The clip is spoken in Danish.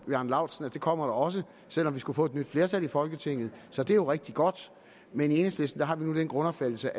bjarne laustsen at det kommer der også selv om vi skulle få et nyt flertal i folketinget så det er jo rigtig godt men i enhedslisten har vi nu den grundopfattelse